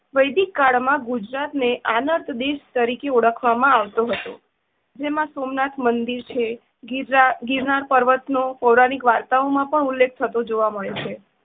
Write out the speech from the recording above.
વેદિકકાળ માં ગુજરાત ને આલત દેશ તરીકે ઓળખવામાં આવતું હતું. જેમાં સોમનાથ મંદિર છે. ગિરનાર~ગિરનાર પર્વત નો પૌરાણિક વાર્તા માં પણ ઉલ્લેખ થતો જોવા માળો છે.